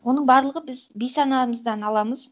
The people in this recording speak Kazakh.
оның барлығы біз бейсанамыздан аламыз